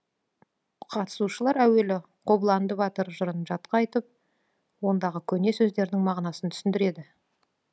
қатысушылар әуелі қобыланды батыр жырын жатқа айтып ондағы көне сөздердің мағынасын түсіндіреді